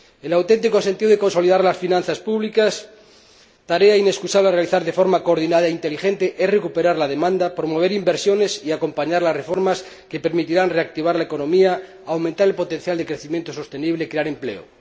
El auténtico sentido de consolidar las finanzas públicas, tarea inexcusable que debe realizarse de forma coordinada e inteligente, es recuperar la demanda, promover inversiones y acompañar las reformas que permitirán reactivar la economía, aumentar el potencial de crecimiento sostenible y crear empleo.